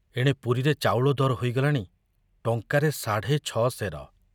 ଏଣେ ପୁରୀରେ ଚାଉଳ ଦର ହୋଇଗଲାଣି ଟଙ୍କାରେ ସାଢ଼େ ଛ ସେର।